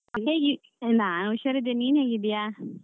ಹೇಗಿ~, ನಾನ್ ಹುಷಾರಿದ್ದೇನೆ, ನೀನ್ ಹೇಗಿದ್ಯಾ?